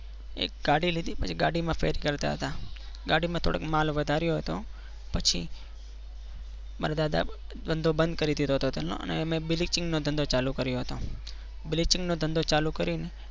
એક ગાડી લીધી પછી ગાડીમાં ફેરી કરતા હતા ગાડીમાં થોડોક માલ વધાર્યો હતો પછી મારા દાદા ધંધો બંધ કરી દીધો હતો તેમનો અને બ્લીચિંગનો ધંધો ચાલુ કર્યો હતો બ્લીચિંગ નો ધંધો ચાલુ કરીને